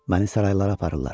Məni saraylara aparırlar.